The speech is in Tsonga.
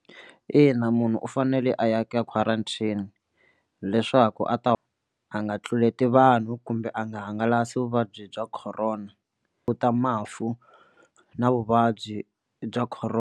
Ina munhu u fanele a ya ka quarantine leswaku a ta a nga tluleti vanhu kumbe a nga hangalasi vuvabyi bya Corona u ta mafu na vuvabyi bya .